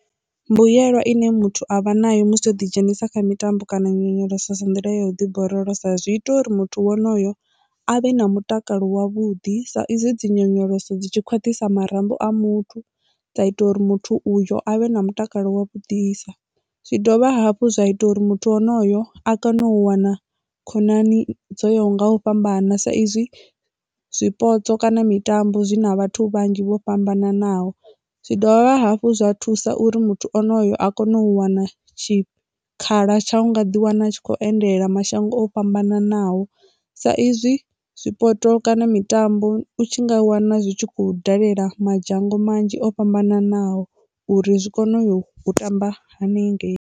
Mbuyelwa ine muthu avha nayo musi o ḓi dzhenisa kha mitambo kana nyonyoloso nḓila ya u ḓi borolosa zwi ita uri muthu wonoyo a vhe na mutakalo wavhuḓi sa izwi dzi nyonyoloso dzi tshi khwaṱhisa marambo a muthu dza ita uri muthu uyo a vhe na mutakalo wa vhudisa. Zwi dovha hafhu zwa ita uri muthu wonoyo a kone u wana khonani dzo ya nga u fhambana sa izwi zwipotso kana mitambo zwi na vhathu vhanzhi vho fhambananaho, zwi dovha hafhu zwa thusa uri muthu ono a kone u wana tshikhala tsha u nga ḓi wana a tshi kho endela mashango o fhambananaho sa izwi zwipotso kana mitambo u tshi nga wana zwi tshi khou dalela madzhango manzhi o fhambananaho uri zwi kone u yo tamba hanengei.